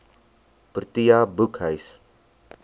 protea boekhuis